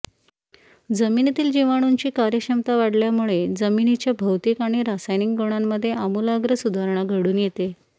जमिनीतील जीवाणूंची कार्यक्षमता वाढल्यामुळे जमिनीच्या भौतिक आणि रासायनिक गुणांमध्ये आमूलाग्र सुधारणा घडून येते